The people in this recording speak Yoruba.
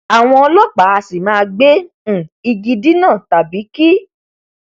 àwọn ọlọpàá a sì máa gbe um igi dínà tàbí kí